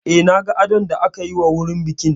Eh, na ga adon da aka yi wa wurin bikin